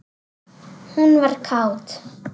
Hún var kát.